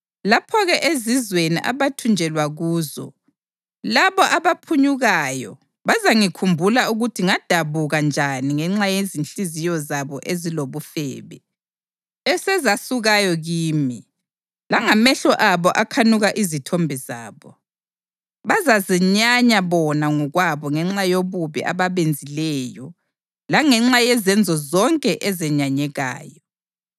Lapho-ke, ezizweni abathunjelwa kuzo, labo abaphunyukayo bazangikhumbula ukuthi ngadabuka njani ngenxa yezinhliziyo zabo ezilobufebe, esezasukayo kimi, langamehlo abo akhanuka izithombe zabo. Bazazenyanya bona ngokwabo ngenxa yobubi ababenzileyo langenxa yezenzo zonke ezenyanyekayo.”